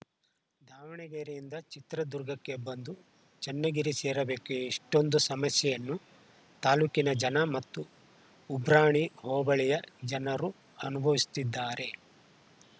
ದಾವಣಗೆರೆಯಿಂದ ಚಿತ್ರದುರ್ಗಕ್ಕೆ ಬಂದು ಚನ್ನಗಿರಿ ಸೇರಬೇಕು ಇಷ್ಟೊಂದು ಸಮಸ್ಯೆಯನ್ನು ತಾಲೂಕಿನ ಜನ ಮತ್ತು ಉಬ್ರಾಣಿ ಹೋಬಳಿಯ ಜನರು ಅನುಭವಿಸುತ್ತಿದ್ದಾರೆ